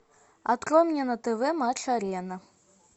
открой мне на тв матч арена